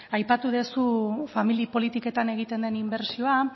aipatu duzu familia politiketan egiten den inbertsioa